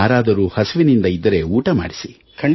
ಯಾರಾದರೂ ಹಸಿವಿನಿಂದಿದ್ದರೆ ಊಟ ಮಾಡಿಸಿ